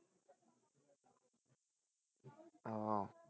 ওহ